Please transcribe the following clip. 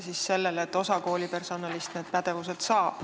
Pean silmas osa koolipersonalist.